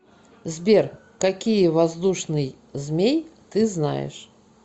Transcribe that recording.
сбер какие воздушный змей ты знаешь